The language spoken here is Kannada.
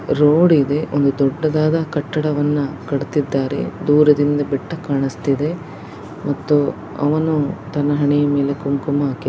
ರೋಡ್ ಇದೆ ಒಂದು ದೊಡ್ಡದಾದ ಕಟ್ಟಡವನ್ನ ಕಟ್ಟುತ್ತಿದ್ದಾರೆ. ದೂರದಿಂದ ಬೆಟ್ಟ ಕಾಣಿಸುತ್ತಿದೆ ಮತ್ತು ಅವನು ತನ್ನ ಹಣೆ ಮೇಲೆ ಕುಂಕುಮ ಹಾಕಿ--